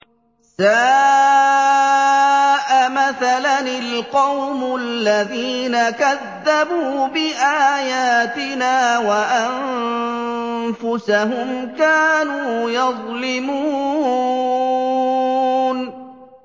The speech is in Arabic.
سَاءَ مَثَلًا الْقَوْمُ الَّذِينَ كَذَّبُوا بِآيَاتِنَا وَأَنفُسَهُمْ كَانُوا يَظْلِمُونَ